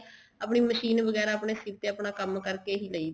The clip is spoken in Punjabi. ਆਪਣੀ ਮਸ਼ੀਨ ਵਗੈਰਾ ਆਪਣੇ ਸਿਰ ਤੇ ਹੀ ਕੰਮ ਕਰਕੇ ਲਈ ਸੀ